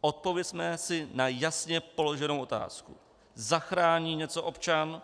Odpovězme si na jasně položenou otázku: Zachrání něco občan,